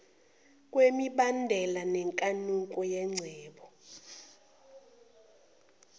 kwemibandela nenkanuko yengcebo